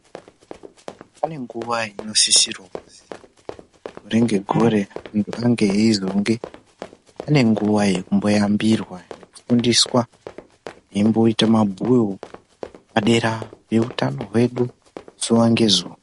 Pane nguwa inosisirwa kuti gore negore izonge pane nguwa yekuyambirwa nekufundiswa padera pehutano hwedu zuwa ngezuwa.